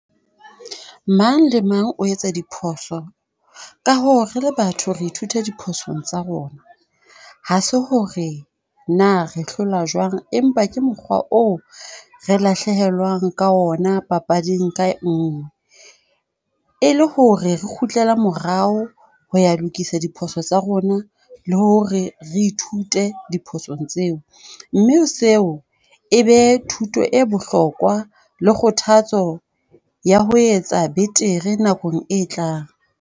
Mang le mang o etsa diphoso ka hoo, re le batho re ithuta diposong tsa rona. Ha se ho re na re hlola jwang? Empa ke mokgwa oo re lahlehelwang ka ona papading ka nngwe. E le ho re re kgutlela morao ho ya lokisa diphoso tsa rona, le ho re re ithute diphosong tseo. Mme seo e be thuto e bohlokwa le kgothatso ya ho etsa betere nakong e tlang.